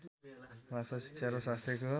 भाषा शिक्षा र स्वास्थ्यको